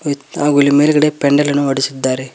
ಹಾಗು ಇಲ್ಲಿ ಮೇಲ್ಗಡೆ ಪೆಂಡಲ್ ಅನ್ನು ವಡಿಸಿದ್ದಾರೆ.